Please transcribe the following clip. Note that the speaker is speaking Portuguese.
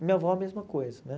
E minha avó, a mesma coisa, né?